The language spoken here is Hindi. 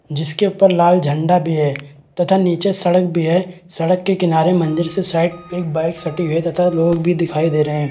जिसके ऊपर लाल झंडा भी है तथा निचे सड़क भी है सड़क के किनारे मंदिर से साइड एक बाइक सटी हुई है तथा लोग भी दिखाई दे रहे है।